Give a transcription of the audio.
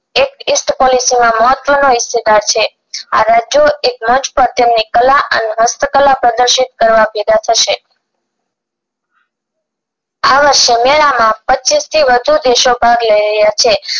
મહત્વનો હિસ્સેદાર છે આ રાજ્યો એક મંચ પર તેમની કળા અને હસ્તકળા પ્રદશીત કરવા ભેગા થશે આ વર્ષે મેળા માં પચીસ થી વધુ દેશો ભાગ લઈ રહ્યા છે